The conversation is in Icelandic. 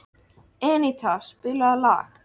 Eníta, spilaðu lag.